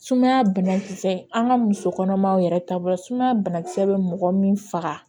Sumaya banakisɛ an ka muso kɔnɔmaw yɛrɛ taabolo banakisɛ bɛ mɔgɔ min faga